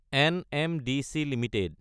NMDC Ltd